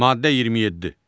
Maddə 27.